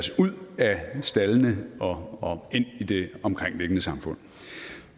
staldene og ind i det omkringliggende samfund